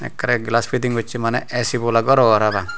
ekkerey glass piting gossey maneh A_C bola gor obo parapang.